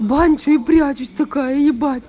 бончо и прячет такая я